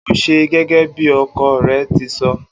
O óò s̩e gé̩gé̩ bí o̩ko̩ re̩ ti so̩!